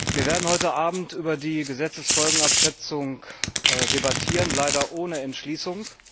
Wir werden heute Abend über die Gesetzesfolgenabschätzung debattieren, leider ohne Entschließung!